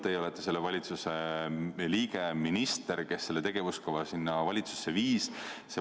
Teie olete selle valitsuse liige, minister, kes selle tegevuskava valitsusse viis.